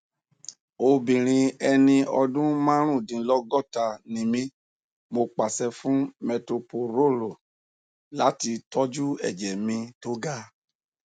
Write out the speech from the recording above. obìnrin ẹni ọdún márùndínlọgọta ni mí mo pàṣẹ fún metoprolol láti tọjú ẹjẹ mi tó ga